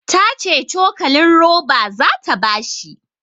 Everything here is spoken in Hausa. Ta ce cokalin roba zata ba shi